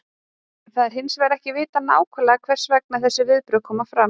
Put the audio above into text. Það er hins vegar ekki vitað nákvæmlega hvers vegna þessi viðbrögð koma fram.